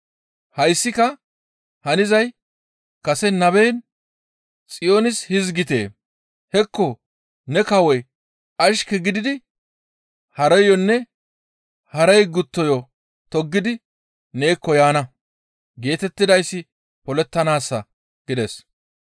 «Hayssika hanizay kase naben Xiyoonis hizgite, ‹Hekko! Ne kawoy ashke gididi hareyonne harey gutteyo toggidi neekko yaana› geetettidayssi polettanaassa» gides.